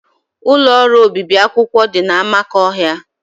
Ụlọ ọrụ obibi akwụkwọ dị na Amakohia